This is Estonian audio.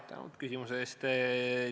Tänan küsimuse eest!